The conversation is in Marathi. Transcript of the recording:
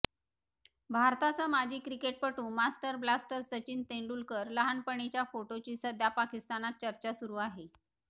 भारताचा माजी क्रिकेटपटू मास्टर ब्लास्टर सचिन तेंडुलकरच्या लहानपणीच्या फोटोची सध्या पाकिस्तानात चर्चा सुरू आहे